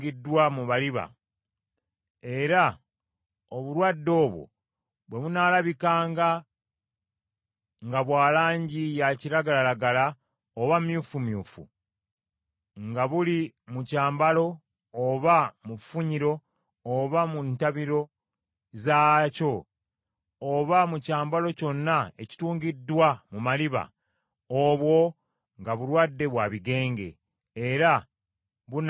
era obulwadde obwo bwe bunaalabikanga nga bwa langi ya kiragalalagala oba myufumyufu, nga buli mu kyambalo oba mu nfunyiro oba mu ntabiro zaakyo, oba mu kyambalo kyonna ekitungiddwa mu maliba; obwo nga bulwadde bwa bigenge, era bunaalagibwanga kabona.